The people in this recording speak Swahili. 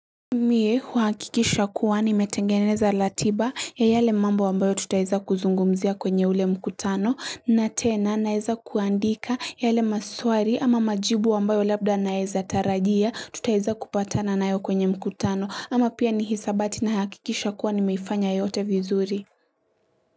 Mie huhakikisha kuwa nimetengeneza ratiba ya yale mambo ambayo tutaweza kuzungumzia kwenye ule mkutano na tena naeza kuandika yale maswali ama majibu ambayo labda naezatarajia tutaweza kupatana nayo kwenye mkutano ama pia ni hisabati na hakikisha kuwa nimeifanya yote vizuri.